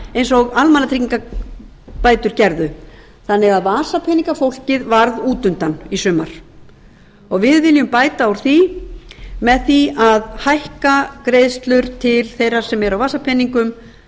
eins og almannatryggingabætur gerðu þannig að vasapeningafólkið varð útundan í sumar við viljum bæta úr því með því að hækka greiðslur til þeirra sem eru á vasapeningum